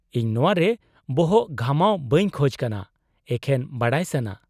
-ᱤᱧ ᱱᱚᱶᱟ ᱨᱮ ᱵᱚᱦᱚᱜ ᱜᱷᱟᱢᱟᱣ ᱵᱟᱹᱧ ᱠᱷᱚᱡ ᱠᱟᱱᱟ, ᱮᱠᱷᱮᱱ ᱵᱟᱰᱟᱭ ᱥᱟᱱᱟ ᱾